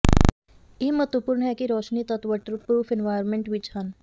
ਇਹ ਮਹੱਤਵਪੂਰਨ ਹੈ ਕਿ ਰੋਸ਼ਨੀ ਤੱਤ ਵਾਟਰਪ੍ਰੂਫ ਇਨਵਾਇਰਮੈਂਟ ਵਿੱਚ ਹਨ